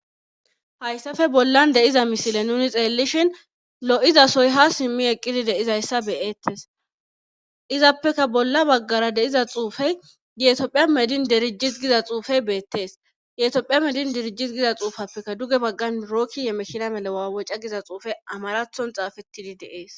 Hayssafe bollan deiza misile nuni xeellishin lo'izasoy ha simmi eqqidi deizayssa beyettes izappeka bolla baggara deiza xuufey yetopphiya medin derijis giza xuufey beettees yetiophiya medin derijis giza xuufappeka duge baggan mirookki yemekina mele waawoca giza xuufe amarathon xaafettidi deees.